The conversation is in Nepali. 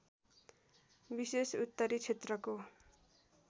विशेषत उत्तरी क्षेत्रको